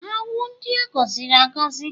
Ha wụ ndị a gọziri agọzi?